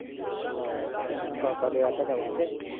ਕਾਕਾ ਗਿਆ ਧਾਡਾ ਵਾਂਢੇ